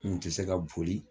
N kun tɛ se ka boli